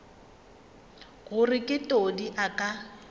gore ge todi a ka